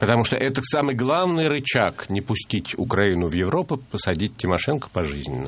потому что это в самый главный рычаг не пустить украину в европу посадить тимошенко пожизненно